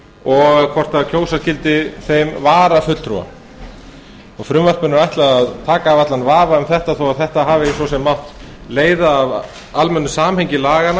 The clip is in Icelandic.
og hvort kjósa skyldi þeim varafulltrúa frumvarpinu er ætlað að taka af allan vafa um þetta þó þetta hafi svo sem mátt leiða af almennu samhengi laganna